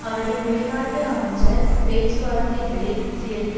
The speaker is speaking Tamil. அவரின் வெளிநாட்டு அமைச்சர் பேச்சுவார்த்தைகளில் சேர்ந்து